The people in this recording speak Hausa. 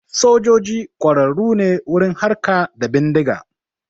Sojoji ƙwararru ne wurin harka da bindiga